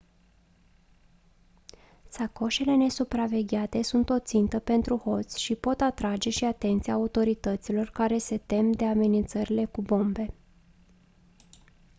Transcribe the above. sacoșele nesupravegheate sunt o țintă pentru hoți și pot atrage și atenția autorităților care se tem de amenințările cu bombe